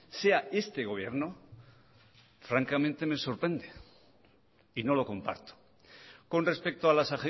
sea este gobierno francamente me sorprende y no lo comparto con respecto a las